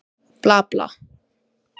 Svíi lokast.